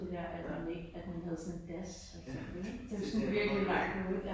Ja. Det. Det forsår man godt nok ikke ja